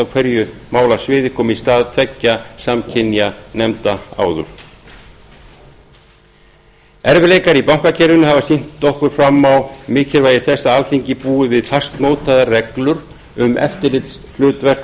á hverju málasviði kom í stað tveggja samkynja nefnda áður erfiðleikar í bankakerfinu hafa sýnt okkur fram á mikilvægi þess að alþingi búi við fastmótaðar reglur um eftirlitshlutverk